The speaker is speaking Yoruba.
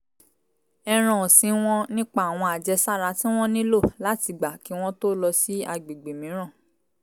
ẹran ọ̀sìn wọn nípa àwọn àjẹsára tí wọ́n nílò láti gba kí wọ́n tó lọ sí àgbègbè mìíràn